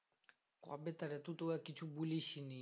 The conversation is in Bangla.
কবে তারে তুতো আ কিছু বলিসনি